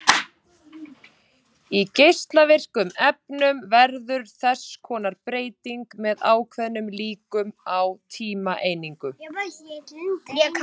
Í geislavirkum efnum verður þess konar breyting með ákveðnum líkum á tímaeiningu.